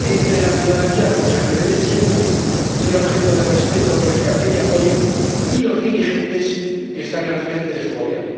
entre la ciudadanía rusa, que debe siempre ser objeto de respeto, consideración y apoyo, y los dirigentes que están al frente de su Gobierno.